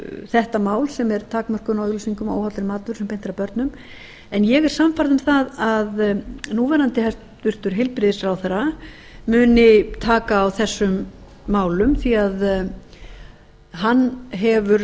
þetta mál sem er takmörkun á auglýsingum á óhollum mat sem beint er að börnum en ég er sannfærð um að það að núverandi hæstvirtum heilbrigðisráðherra muni taka á þessum málum því hann hefur